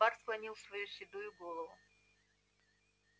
бар склонил свою седую голову